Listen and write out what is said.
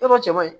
Yɔrɔ cɛ man ɲi